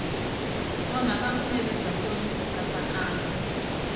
onhaka vunene bya nkomiso nkatsakanyo